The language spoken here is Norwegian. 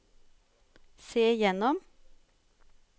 se gjennom